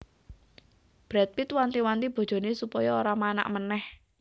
Brad Pitt wanti wanti bojone supaya ora manak maneh